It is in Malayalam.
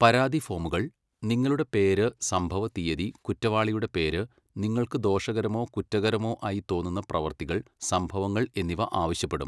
പരാതി ഫോമുകൾ നിങ്ങളുടെ പേര്, സംഭവ തീയ്യതി, കുറ്റവാളിയുടെ പേര്, നിങ്ങൾക്ക് ദോഷകരമോ കുറ്റകരമോ ആയി തോന്നുന്ന പ്രവൃത്തികൾ, സംഭവങ്ങൾ എന്നിവ ആവശ്യപ്പെടും.